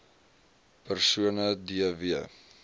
persone d w